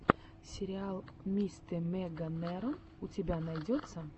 сериал мистэмеганерон у тебя найдется